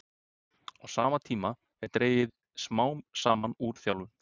Á sama tíma er dregið smám saman úr þjálfun.